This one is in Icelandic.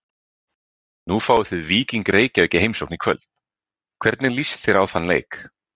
Nú fáið þið Víking Reykjavík í heimsókn í kvöld, hvernig list þér á þann leik?